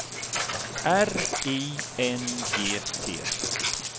R I N G T